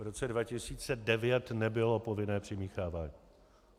V roce 2009 nebylo povinné přimíchávání.